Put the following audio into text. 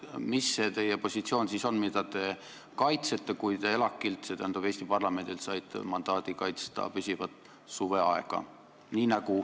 Mis on see positsioon, mida te kaitsete, kui te ELAK-ilt, st Eesti parlamendilt saite mandaadi kaitsta püsivat suveaega?